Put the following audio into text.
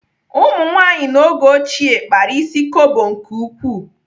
Ụmụnwaanyị n'oge ochie kpara ịsị kobo nke ukwuu.